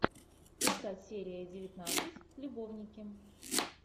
искать серия девятнадцать любовники